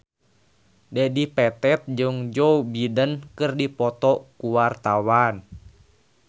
Dedi Petet jeung Joe Biden keur dipoto ku wartawan